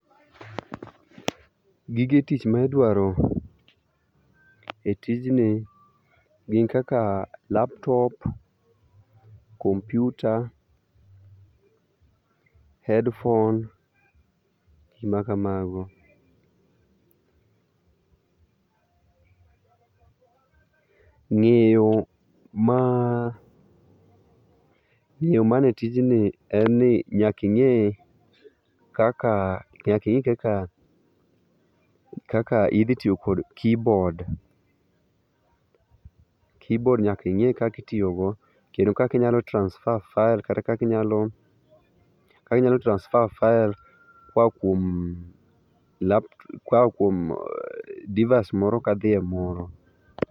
Gige tich ma idwaro e tijni gin kaka laptop, kompyuta, headphones ma kamago. Ng'eyo mane tijni en ni nyaka ing'e kaka idhi tiyo kod keyboard, keyboard nyaka ing'e kaka itiyogo kendo kaka inyalo transfer files, kaka inyalo transfer files koa kuom device moro ka dhi e moro.